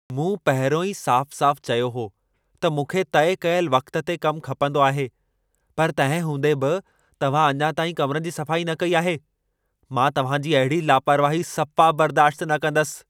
मूं पहिरियों ई साफ़-साफ़ चयो हो त मूंखे तइ कयल वक़्त ते कम खपंदो आहे, पर तंहिं हूंदे बि तव्हां अञा ताईं कमिरनि जी सफ़ाई न कई आहे। मां तव्हां जी अहिड़ी लापरवाही सफ़ा बर्दाश्त न कंदसि।